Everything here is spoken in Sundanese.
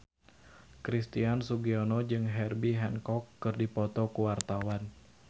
Christian Sugiono jeung Herbie Hancock keur dipoto ku wartawan